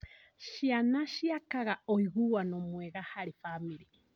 Ciana ciakaga ũiguano mwega harĩ bamĩrĩ.